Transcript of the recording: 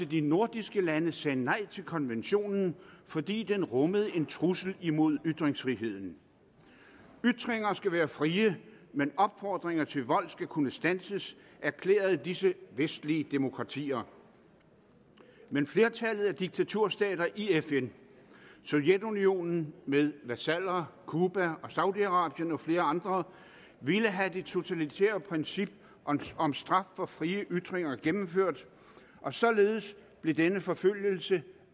de nordiske lande sagde nej til konventionen fordi den rummede en trussel imod ytringsfriheden ytringer skal være frie men opfordringer til vold skal kunne standses erklærede disse vestlige demokratier men flertallet af diktaturstater i fn sovjetunionen med vasaller cuba og saudi arabien og flere andre ville have det totalitære princip om straf for frie ytringer gennemført og således blev denne forfølgelse